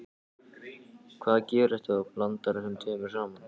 Hvað gerist ef þú blandar þessu tvennu saman?